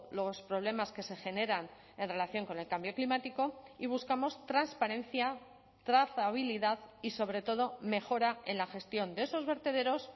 los problemas que se generan en relación con el cambio climático y buscamos transparencia trazabilidad y sobre todo mejora en la gestión de esos vertederos